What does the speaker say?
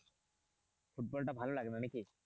ফুটবলটা ভালো লাগে না নাকি?